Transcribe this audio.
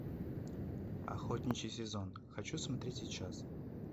охотничий сезон хочу смотреть сейчас